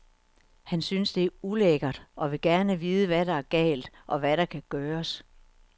Han synes, det er ulækkert og vil gerne vide, hvad der er galt, og hvad der kan gøres.